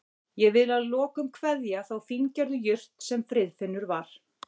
Ég vil að lokum kveðja þá fíngerðu jurt sem Friðfinnur var.